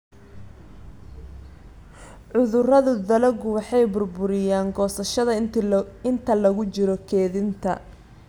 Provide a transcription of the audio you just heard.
Cudurada dalaggu waxay burburiyaan goosashada inta lagu jiro kaydinta.